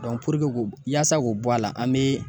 yasa k'o bɔ a la ,an be